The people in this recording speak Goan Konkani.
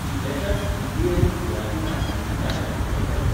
कितल्याशाच हिंदी आनी गुजराती नाटकांनी ताणें अभिनय के्ल्लो.